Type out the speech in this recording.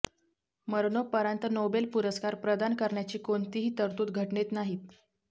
मरणोपरांत नोबेल पुरस्कार प्रदान करण्याची कोणतीही तरतूद घटनेत नाही